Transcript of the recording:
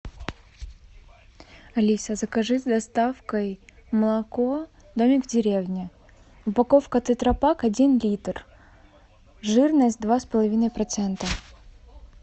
алиса закажи с доставкой молоко домик в деревне упаковка тетрапак один литр жирность два с половиной процента